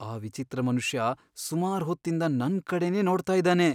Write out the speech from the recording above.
ಆ ವಿಚಿತ್ರ ಮನುಷ್ಯ ಸುಮಾರ್ ಹೊತ್ತಿಂದ ನನ್ಕಡೆನೇ ನೋಡ್ತಾ ಇದಾನೆ.